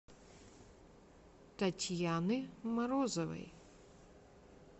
татьяны морозовой